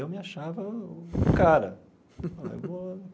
Eu me achava o cara ó eu vou.